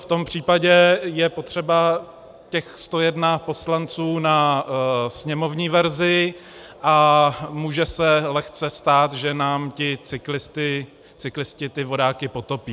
V tom případě je potřeba těch 101 poslanců na sněmovní verzi a může se lehce stát, že nám ti cyklisté ty vodáky potopí.